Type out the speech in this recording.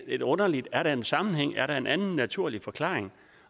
lidt underligt er der en sammenhæng er der en anden naturlig forklaring